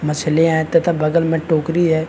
मछलियाँ है तथा बगल में टोकरी है।